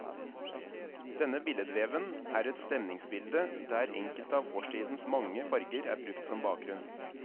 Denne billedveven er et stemningsbilde der enkelte av årstidens mange farger er brukt som bakgrunn.